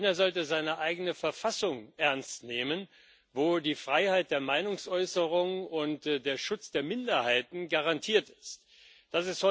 China sollte seine eigene Verfassung ernst nehmen, in der die Freiheit der Meinungsäußerung und der Schutz der Minderheiten garantiert sind.